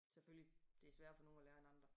Selvfølgelig det sværere for nogen at lære end andre